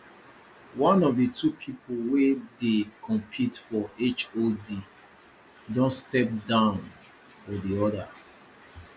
one of the two people wey dey compete for hod don step down for the other